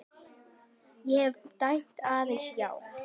Ég hef dæmt aðeins já.